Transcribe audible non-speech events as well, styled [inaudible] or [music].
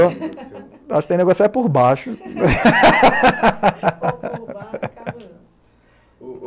Acho que tem que negociar por baixo. [laughs]